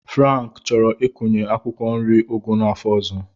Frank chọrọ ịkụnyekwu akwụkwọ nri ụgụ n'afọ ọzọ.